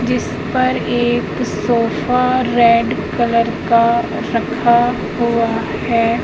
जिस पर एक सोफा रेड कलर का रखा हुआ हैं।